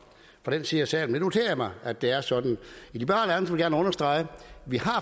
fra den side af salen men nu noterer jeg mig at det er sådan liberal alliance vil gerne understrege at vi